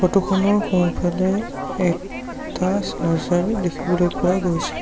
Photo খনৰ সোঁফালে এটা চাৰ্জাৰ দেখিবলৈ পোৱা গৈছে।